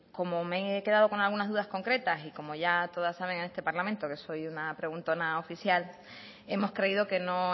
como me he quedado con algunas dudas concretas y como ya todas saben en este parlamento que soy una preguntona oficial hemos creído que no